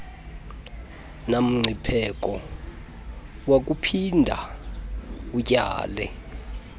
namngcipheko wakuphinda utyale